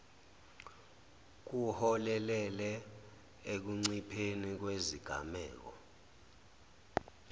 kuholele ekuncipheni kwezigameko